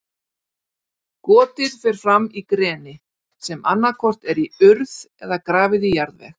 Gotið fer fram í greni, sem annað hvort er í urð eða grafið í jarðveg.